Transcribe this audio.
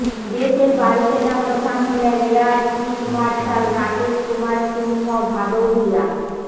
দেশের বায়ুসেনা প্রধান হলেন এয়ার চিফ মার্শাল রাকেশকুমার সিংহ ভাদৌরিয়া